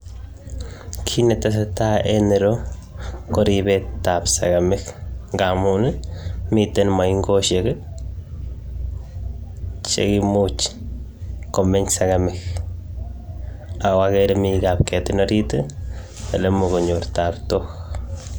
Kit ne tesetai en ireyuu ko ripseet ab segememiik ngamuun ii miten maingosiek ii cheimuuch komeeny segemik ago agere ale Mii kapketiin oriit ole imuuch konyoor taptook.